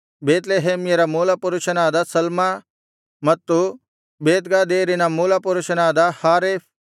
ಬೇತ್ಲೆಹೇಮ್ಯರ ಮೂಲಪುರುಷನಾದ ಸಲ್ಮ ಮತ್ತು ಬೇತ್ಗಾದೇರಿನ ಮೂಲಪುರುಷನಾದ ಹಾರೇಫ್